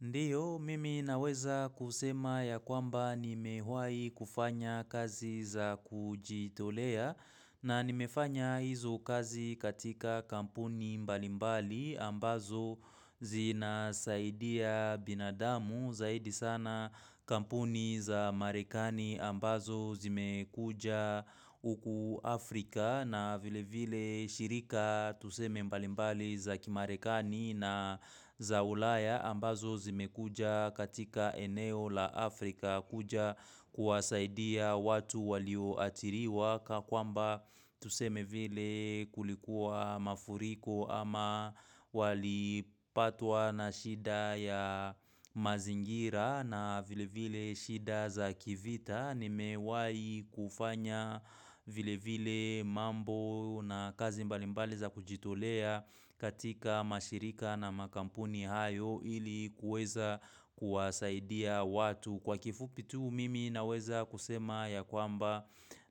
Ndiyo, mimi naweza kusema ya kwamba nimewahi kufanya kazi za kujitolea na nimefanya hizo kazi katika kampuni mbalimbali ambazo zinasaidia binadamu zaidi sana kampuni za marekani ambazo zimekuja uku Afrika na vile vile shirika tuseme mbalimbali za kimarekani na za ulaya ambazo zimekuja katika eneo la Afrika kuja kuwasaidia watu walio athiriwa kakwamba tuseme vile kulikuwa mafuriko ama walipatwa na shida ya mazingira na vile vile shida za kivita nimewahi kufanya vile vile mambo na kazi mbalimbali za kujitolea katika mashirika na makampuni hayo ili kueza kuwasaidia watu. Kwa kifupi tu mimi naweza kusema ya kwamba